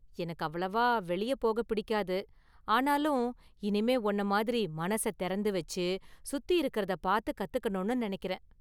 எனக்கு அவ்வளவா வெளிய போக பிடிக்காது, ஆனாலும் இனிமே உன்ன மாதிரி மனச தெறந்து வச்சு சுத்தி இருக்கறத பார்த்து கத்துக்கணும்னு நெனைக்கிறேன்.